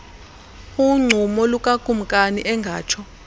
uncumo lukakumkani engatsho